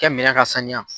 Kɛ minɛn ka sanuya